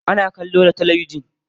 Ana kallo da talabijin.